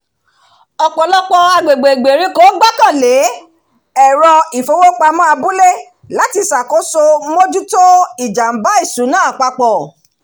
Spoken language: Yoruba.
ọ̀pọ̀lọpọ̀ agbègbè ìgbèríko gbọ́kànlé èrò ifowópamọ́ abúlé láti ṣakojọsọ mójútó ìjàmbá ìṣúná apapọ